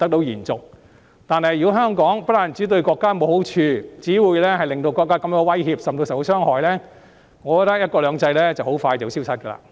然而，如果香港不但對國家沒有好處，更只令國家感到威脅，甚至受到傷害，"一國兩制"便很快會消失。